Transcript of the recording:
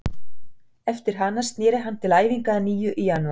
Eftir hana snéri hann til æfinga að nýju í janúar.